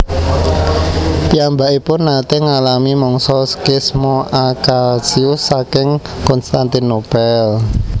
Piyambakipun naté ngalami mangsa skisma Acasius saking Konstantinopel